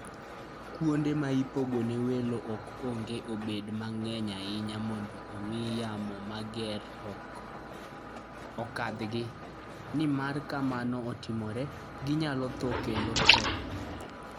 Kuonde ma ipogo ne welo ok onego obed mang'eny ahinya mondo omi yamo mager okadhgi, nimar ka mano otimore, ginyalo tho kendo tho.